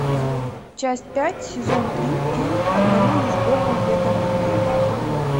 часть пять сезон три фильм одному лишь богу ведомый мир